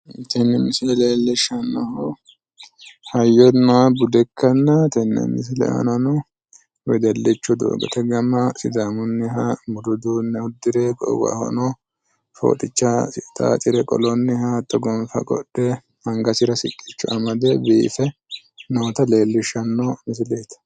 Tini misile leellishsannohu hayyonna bude ikkanna, tenne misile aanano wedellicho doogote gama sidaamunniha budu uduunne uddire goowahono fooxichasi xaaxira qolonniha hatto gonfa qodhe angasira siqqicho amade biife noota leellishshanno misileeti.